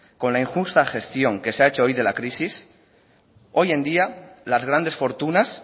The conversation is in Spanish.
con la injusta que se ha hecho hoy de la crisis hoy en día las grandes fortunas